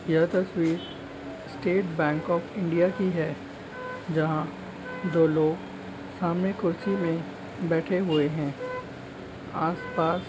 यह तस्वीर state bank of India की है जहा दो लोग सामने कुर्सी में बैठे हुए है । आसपास --